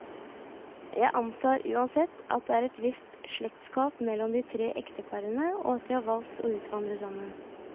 Jeg antar uansett, at det er et visst slektskap mellom de tre ekteparene, og at de har valgt å utvandre sammen.